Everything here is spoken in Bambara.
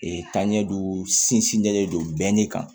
taaɲɛ don sinsinnen don bɛnni kan